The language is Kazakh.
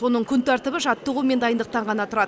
оның күн тәртібі жаттығу мен дайындықтан ғана тұрады